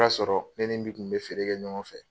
O y'a sɔrɔ ne min kun bɛ feere kɛ ɲɔgɔn fɛ.